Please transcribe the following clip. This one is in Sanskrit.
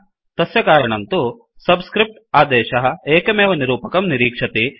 तस्य कारणं तु सब्स्क्रिफ्ट् आदेशः एकमेव निरूपकं निरीक्षति